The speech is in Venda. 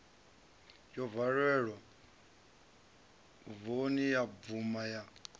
valelwa voni ya bvuma ya